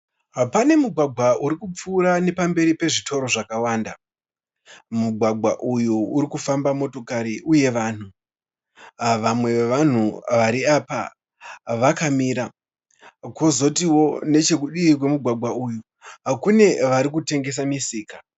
Pane mugwagwa uri kupfuura nepamberi pezvitoro zvakawanda. Mugwagwa uyu uri kufamba motokari uye vanhu. Vamwe vevanhu vari apa vakamira kwozoti nechekudii kwemugwgwa uyu kune vari kutengesa musika.